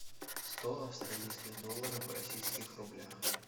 сто австралийских долларов в российских рублях